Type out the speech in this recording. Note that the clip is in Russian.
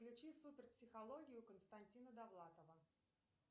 включи супер психологию константина довлатова